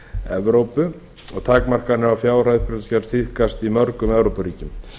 evrópu og takmarkanir á fjárhæð sem tíðkast í mörgum evrópuríkjum